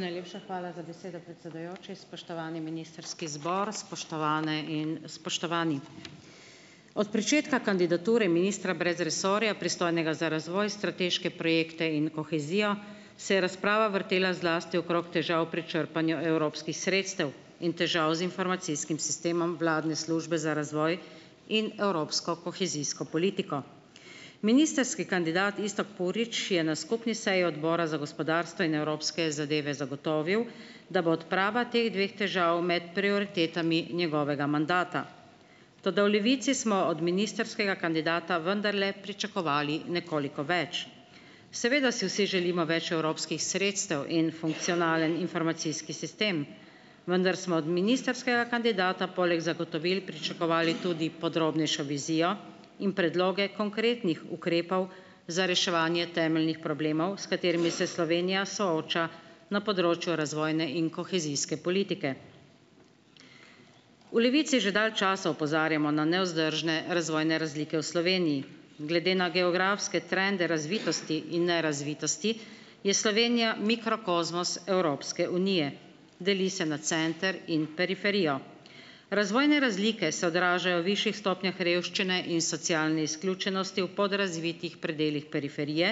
Najlepša hvala za besedo, predsedujoči. Spoštovani ministrski zbor, spoštovane in spoštovani. Od pričetka kandidature ministra brez resorja, pristojnega za razvoj, strateške projekte in kohezijo, se je razprava vrtela zlasti okrog težav pri črpanju evropskih sredstev in težav z informacijskim sistemom vladne Službe za razvoj in evropsko kohezijsko politiko. Ministrski kandidat Iztok Purič je na skupni seji Odbora za gospodarstvo in evropske zadeve zagotovil, da bo odprava teh dveh težav med prioritetami njegovega mandata. Toda v Levici smo od ministrskega kandidata vendarle pričakovali nekoliko več. Seveda si vsi želimo več evropskih sredstev in funkcionalen informacijski sistem, vendar smo od ministrskega kandidata poleg zagotovil pričakovali tudi podrobnejšo vizijo in predloge konkretnih ukrepov za reševanje temeljnih problemov, s katerimi se Slovenija sooča na področju razvojne in kohezijske politike. V Levici že dalj časa opozarjamo na nevzdržne razvojne razlike v Sloveniji. Glede na geografske trende razvitosti in nerazvitosti je Slovenija mikrokozmos Evropske unije. Deli se na center in periferijo. Razvojne razlike se odražajo v višjih stopnjah revščine in socialne izključenosti v podrazvitih predelih periferije,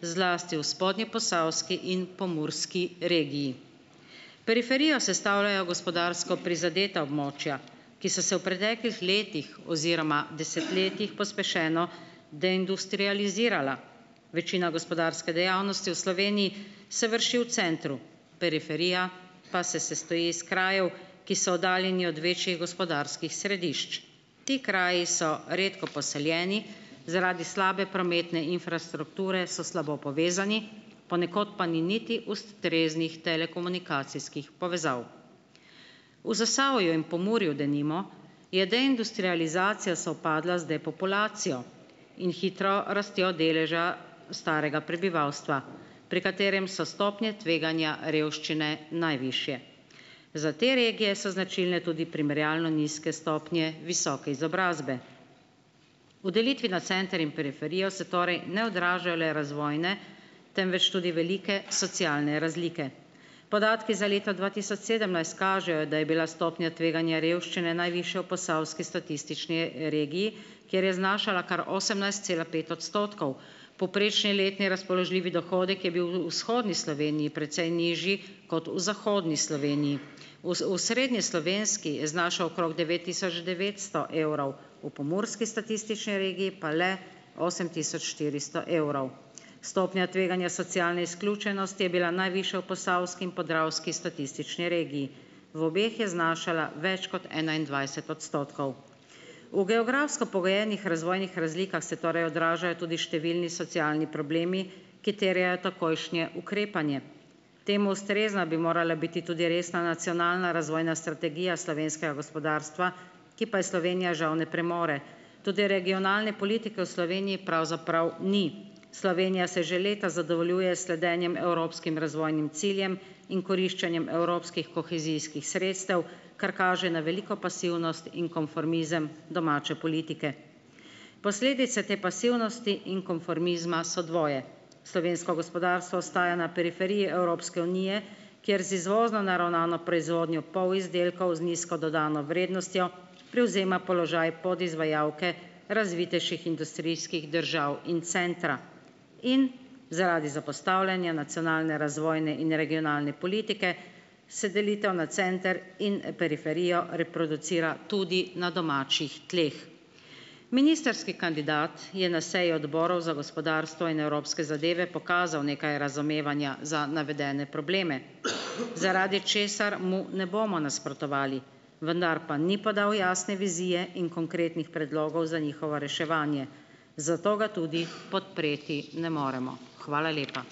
zlasti v spodnjeposavski in pomurski regiji. Periferijo sestavljajo gospodarsko prizadeta območja, ki so se v preteklih letih oziroma desetletjih pospešeno deindustrializirala. Večina gospodarske dejavnosti v Sloveniji se vrši v centru, periferija pa se sestoji iz krajev, ki so oddaljeni od večjih gospodarskih središč. Ti kraju so redko poseljeni, zaradi slabe prometne infrastrukture so slabo povezani, ponekod pa ni niti ustreznih telekomunikacijskih povezav. V Zasavju in Pomurju denimo je deindustrializacija sovpadla z depopulacijo in hitro rastjo deleža starega prebivalstva, pri katerem so stopnje tveganja revščine najvišje. Za te regije so značilne tudi primerjalno nizke stopnje visoke izobrazbe. V delitvi na center in periferijo se torej ne odražajo le razvojne, temveč tudi velike socialne razlike. Podatki za leto dva tisoč sedemnajst kažejo, da je bila stopnja tveganja revščine najvišja v posavski statistični, regiji, kjer je znašala kar osemnajst cela pet odstotkov. Povprečni letni razpoložljivi dohodek je bil v vzhodni Sloveniji precej nižji kot v zahodni Sloveniji. V osrednjeslovenski znaša okrog devet tisoč devetsto evrov, V pomurski statistični regiji pa le osem tisoč štiristo evrov. Stopnja tveganja socialne izključenosti je bila najvišja v posavski in podravski statistični regiji, v obeh je znašala več kot enaindvajset odstotkov. V geografsko pogojenih razvojnih razlikah se torej odražajo tudi številni socialni problemi, ki terjajo takojšnje ukrepanje, temu ustrezna bi morala biti tudi resna nacionalna razvojna strategija slovenskega gospodarstva, ki pa je Slovenija žal ne premore. Tudi regionalne politike v Sloveniji pravzaprav ni. Slovenija se že leta zadovoljuje s sledenjem evropskim razvojnim ciljem in koriščenjem evropskih kohezijskih sredstev, kar kaže na veliko pasivnost in konformizem domače politike. Posledice te pasivnosti in konformizma so dvoje. Slovensko gospodarstvo ostaja na periferiji Evropske unije, kjer z izvozno naravnano proizvodnjo polizdelkov z nizko dodano vrednostjo prevzema položaj podizvajalke razvitejših industrijskih držav in centra in zaradi zapostavljanja nacionalne razvojne in regionalne politike, se delitev na center in periferijo reproducira tudi na domačih tleh. Ministrski kandidat je na sejo Odborov za gospodarstvo in evropske zadeve pokazal nekaj razumevanja za navedene probleme, zaradi česar mu ne bomo nasprotovali, vendar pa ni podal jasne vizije in konkretnih predlogov za njihovo reševanje, zato ga tudi podpreti ne moremo. Hvala lepa.